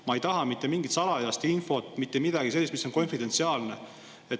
Ma ei taha mitte mingit salajast infot, mitte midagi sellist, mis on konfidentsiaalne.